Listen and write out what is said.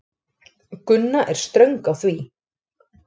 Gunna er ströng á því.